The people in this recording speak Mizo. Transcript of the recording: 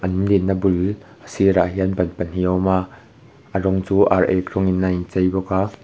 an din na bul sirah hian ban pahnih a awm a a rawng chu ar ek rawngin a inchei bawk a.